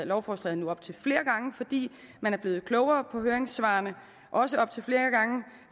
lovforslaget nu op til flere gange fordi man er blevet klogere af høringssvarene også op til flere gange